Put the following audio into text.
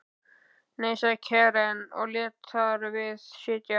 Nei, sagði Karen og lét þar við sitja.